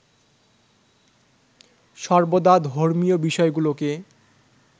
সর্বদা ধর্মীয় বিষয়গুলোকে